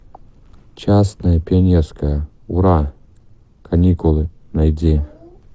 частное пионерское ура каникулы найди